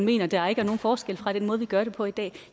mener at der er nogen forskel fra den måde vi gør det på i dag